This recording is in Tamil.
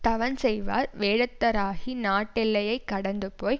தவஞ்செய்வார் வேடத்தராகி நாட்டெல்லையைக் கடந்து போய்